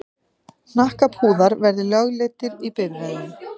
Hnakkapúðar verði lögleiddir í bifreiðum.